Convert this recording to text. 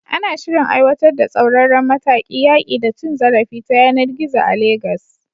Ana shirin aiwatar da tsauraran matakan yaƙi da cin zarafi ta yanar gizo a Legas.